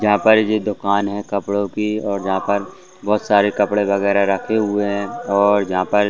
यहाँ पर जो दुकान है कपड़ों की और यहाँ पर बहुत सारे कपड़े वगैरा रखे हुए हैं और यहाँ पर--